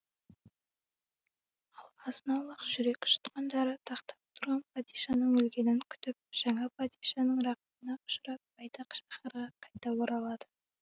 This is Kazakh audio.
ал азын аулақ жүрек жұтқандары тақта отырған падишаның өлгенін күтіп жаңа падишаның рақымына ұшырап байтақ шаһарға қайта оралады